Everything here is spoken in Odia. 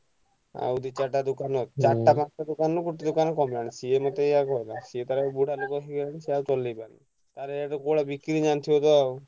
ଆଉ ଦି ଚାରିଟା ଦୋକାନ ଚାରଟା ପାଂସ୍ ଟା ଦୋକାନରୁ ଗୋଟେ ଦୋକାନ କମି ଗଲାଣି ସିଏ ମତେ ଏୟା କହିଲା। ସିଏ ତାର ବୁଢା ଲୋକ ହେଇଗଲାଣି ସିଏ ଆଉ ଚଳେଇ ପାରୁନି। ତାର କୋଉ ଭଳିଆ ବିକ୍ରି ହୁଏ ଜାଣିଥିବ ତ ଆଉ।